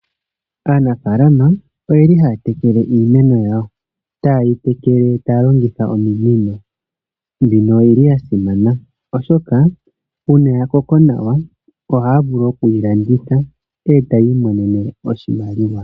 Aanafaalama oye li haya tekele iimeno yawo taye yi tekele taya longitha ominino. Mbino oyi li ya simana, oshoka uuna ya koko nawa ohaya vulu oku yi landitha e taya imonene oshimaliwa.